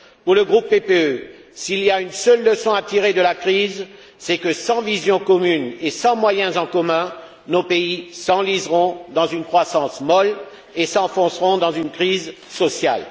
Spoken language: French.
Pour le groupe PPE, s'il y a une seule leçon à tirer de la crise, c'est que sans vision commune et sans moyens en commun, nos pays s'enliseront dans une croissance molle et s'enfonceront dans une crise sociale.